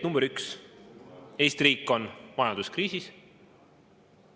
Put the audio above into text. Number üks, Eesti riik on majanduskriisis.